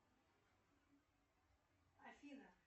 афина